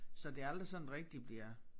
Så det aldrig sådan rigtig bliver